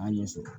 A ɲɛ sɔrɔ